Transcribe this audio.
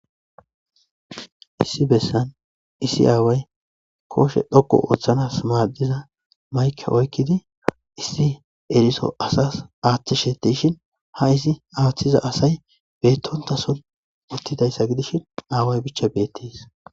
issi bessan issi aaway kooshe dhoko ooththanas maaddiza mayke oykkidi issi eriso asas aaththishetishin ha izi aaththiza asay beettontason uttidayssa gidishin aaway bicha beettes